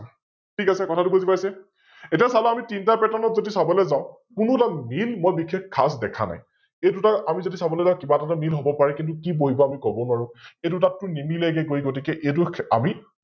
ঠিক আছে কথাতো বুজি পাইছে । এতিয়া চালো তিনিটা Pattern ত যদি আমি চাবলৈ যাও, কোনো এটা Grim ম ই বিসেষ খাচ দেখা নাই, এইদুটা আমি যদি চাবলৈ যাও কিবা এটা তো মিল হব পাৰে কিন্তু কি বহিব আমি কব নোৱাৰো, এই দুটাটোত নিমিলে গৈ গতিকে এইতো আমি,